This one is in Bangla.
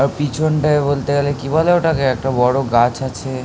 আ - পিছনটায় বলতে গেলে কি বলে ওটা কে একটা বড়ো গাছ আছে - এ ।